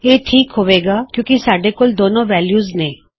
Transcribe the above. ਇਹ ਠੀਕ ਹੋਵੇਗਾ ਕਿੳਂ ਕਿ ਸਾਡੇ ਕੋਲ ਦੋਨੋ ਵੈਲਯੂਜ਼ ਨੇ